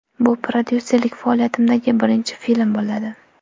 Bu prodyuserlik faoliyatimdagi birinchi film bo‘ladi.